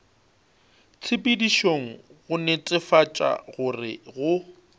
tshepedišong go netefatša gore go